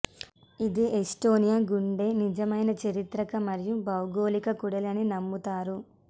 ఇది ఎస్టోనియా గుండె నిజమైన చారిత్రక మరియు భౌగోళిక కూడలి అని నమ్ముతారు